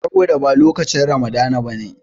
Saboda ba lokacin Ramadana ba ne.